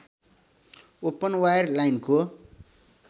open wire लाइनको